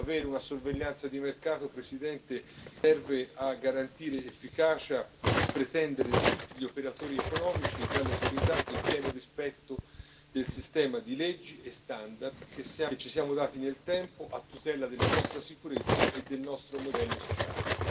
Avere una sorveglianza di mercato, Presidente, serve a garantire efficacia e pretendere da tutti gli operatori economici e dalle autorità il pieno rispetto del sistema di leggi e standard che ci siamo dati nel tempo, a tutela della nostra sicurezza e del nostro modello sociale.